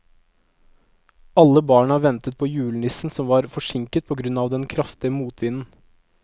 Alle barna ventet på julenissen, som var forsinket på grunn av den kraftige motvinden.